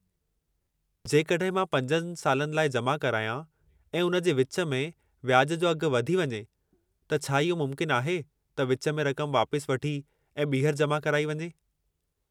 जेकॾहिं मां 5 सालनि लाइ जमा करायां, ऐं उन जे विचु में व्याजु जो अघु वधी वञे, त छा इहो मुमकिनु आहे त विचु में रक़म वापसि वठी ऐं ॿीहर जमा कराई वञे।